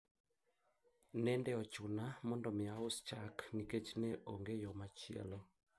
ilibidi niuze maziwa kwa sababu sikuwa na njia nyingine